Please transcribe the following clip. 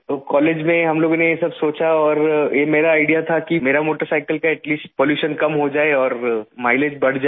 और कॉलेज में हम लोगों ने ये सब सोचा और ये मेरा आईडीईए था कि मैं मेरा मोटरसाइकिल का एटी लीस्ट पॉल्यूशन कम हो जाए और माइलेज बढ़ जाए